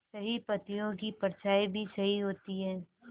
सही पत्तियों की परछाईं भी सही होती है